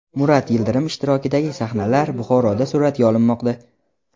Murat Yildirim ishtirokidagi sahnalar Buxoroda suratga olinmoqda.